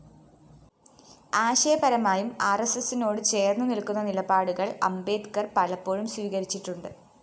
ആശയപരമായും ആര്‍എസ്എസിനോട് ചേര്‍ന്നുനില്‍ക്കുന്ന നിലപാടുകള്‍ അംബേദ്കര്‍ പലപ്പോഴും സ്വീകരിച്ചിട്ടുണ്ട്